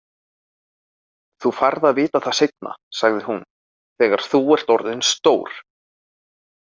Þú færð að vita það seinna, sagði hún, „þegar þú ert orðinn stór“